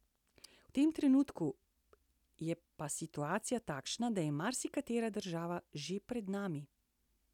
V tem trenutku je pa situacija takšna, da je marsikatera država že pred nami.